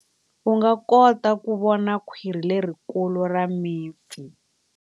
U nga kota ku vona khwiri lerikulu ra mipfi.